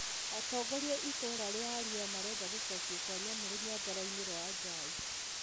Atongoria itũra ria Arua marenda gucokio kwa nyamu rũnyanja-ĩnĩ rwa Ajai.